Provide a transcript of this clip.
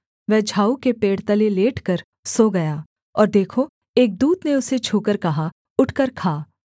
वह झाऊ के पेड़ तले लेटकर सो गया और देखो एक दूत ने उसे छूकर कहा उठकर खा